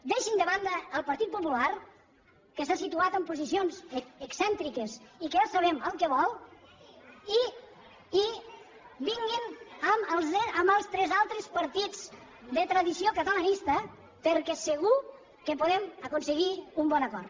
deixin de banda el partit popular que s’ha situat en posicions excèntriques i que ja sabem el que vol i vinguin amb els tres altres partits de tradició catalanista perquè segur que podem aconseguir un bon acord